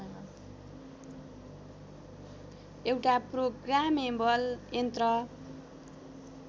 एउटा प्रोग्रामेबल यन्त्र